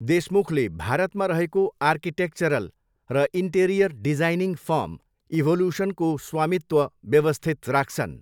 देशमुखले भारतमा रहेको आर्किटेक्चरल र इन्टेरियर डिजाइनिङ फर्म इभोलुसनको स्वामित्व व्यवस्थित राख्छन्।